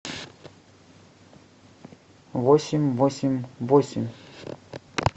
восемь восемь восемь